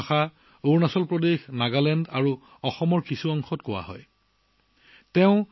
এই ভাষা অৰুণাচল প্ৰদেশ নাগালেণ্ড আৰু অসমৰ কিছু অংশত প্ৰচলিত